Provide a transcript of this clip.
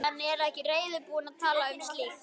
En er ekki reiðubúin að tala um slíkt.